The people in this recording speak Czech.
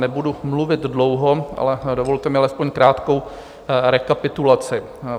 Nebudu mluvit dlouho, ale dovolte mi alespoň krátkou rekapitulaci.